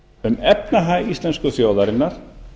um efnahag íslensku þjóðarinnar